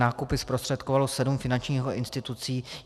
Nákupy zprostředkovalo sedm finančních institucí.